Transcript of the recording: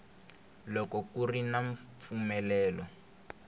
loko ku ri na mpfumelelo